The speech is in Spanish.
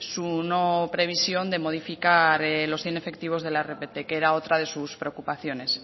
su no previsión de modificar los inefectivos de la rpt que era otra de sus preocupaciones